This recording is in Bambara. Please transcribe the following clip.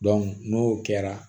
n'o kɛra